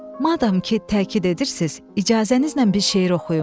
Madam ki, təkid edirsiz, icazənizlə bir şeir oxuyum.